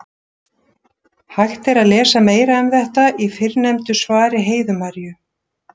Hægt er að lesa meira um þetta í fyrrnefndu svari Heiðu Maríu.